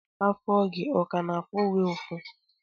Afọ gi ọ ka na-afụ gi ụfụ?